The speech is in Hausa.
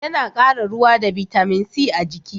Ya na kara ruwa da bitamin c a jiki